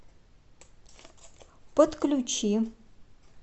подключи